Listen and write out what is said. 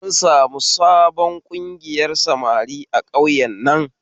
An sami sabon ƙungiyar samari a ƙauyen nan